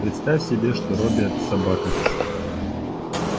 представь себе что робби это собака